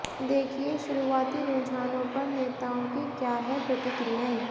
देखिये शुरुआती रुझानों पर नेताओं की क्या हैं प्रतिक्रियाएं